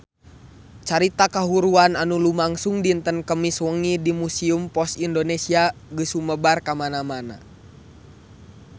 Carita kahuruan anu lumangsung dinten Kemis wengi di Museum Pos Indonesia geus sumebar kamana-mana